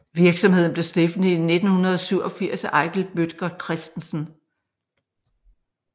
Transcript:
Virksomheden blev stiftet i 1987 af Eigild Bødker Christensen